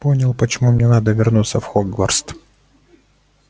понял почему мне надо вернуться в хогвартс